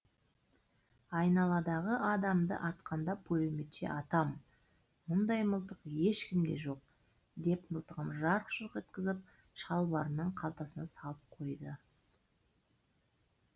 айналадағы адамды атқанда пулеметше атам мұндай мылтық ешкімде жоқ деп мылтығын жарқ жұрқ еткізіп шалбарының қалтасына салып қойды